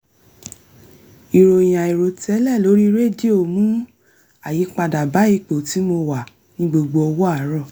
ìròyìn àìròtẹ́lẹ̀ lórí rédíò mú àyípadà bá ipò tí mo wà ní gbogbo ọwọ́ àárọ̀